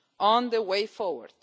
on the way forward.